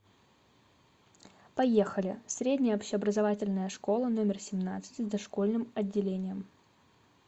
поехали средняя общеобразовательная школа номер семнадцать с дошкольным отделением